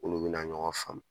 Olu bɛ na ɲɔgɔn faamu.